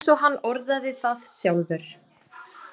Eins og hann orðaði það sjálfur: